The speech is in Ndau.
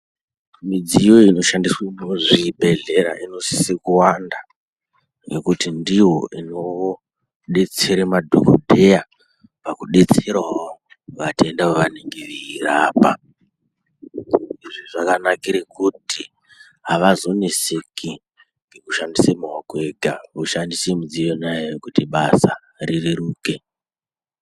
Mudziyo inoshandiswa muzvibhedlera inosise kuwanda , nekuti ndiyo inodetsere madhokodheya pakudetserawo vatenda vavanenge veirapa . Izvi zvakanakira kuti avazoneseki nekushandisa maoko ega voshandisa mudziyo yona iyoyo kuti basa rireruke.